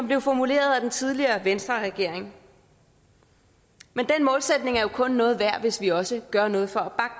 blev formuleret af den tidligere venstreregering men den målsætning er jo kun noget værd hvis vi også gør noget for